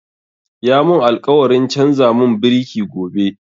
Ya mun alkawarin canza mun biriki gobe